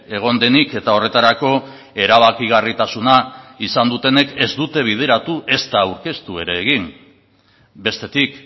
egon denik eta horretarako erabakigarritasuna izan dutenek ez dute bideratu ezta aurkeztu ere egin bestetik